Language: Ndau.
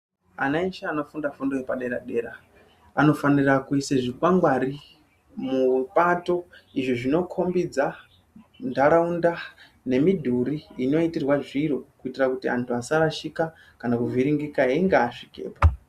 Ana eshe anofunda fundo yepadera-dera anofanira kuise zvikwangwari mupato. Izvo zvinokombidza ntaraunda nemidhuri inoitirwa zviro. Kuitira kuti antu asarashika kuvhiringika einga asvikepo.